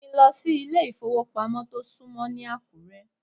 Mú mi lọ sí ilé ìfowópamọ́ tó súnmọ́ ní Àkúré.